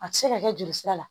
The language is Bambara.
A tɛ se ka kɛ jolisira la